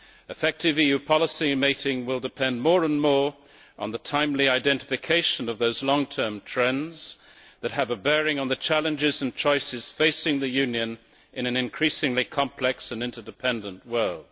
Effective EU policy making will depend more and more on the timely identification of those long term trends that have a bearing on the challenges and choices facing the Union in an increasingly complex and interdependent world.